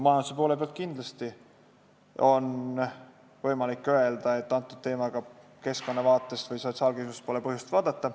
Majanduse poole pealt vaadates on kindlasti võimalik öelda, et seda teemat pole keskkonnavaatest või sotsiaalkindlustuse vaatest põhjust vaadata.